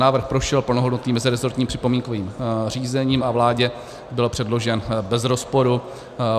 Návrh prošel plnohodnotným mezirezortním připomínkovým řízením a vládě byl předložen bez rozporu.